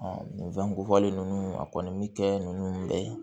nin fɛn ninnu a kɔni bɛ kɛ ninnu bɛɛ ye